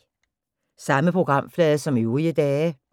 Samme programflade som øvrige dage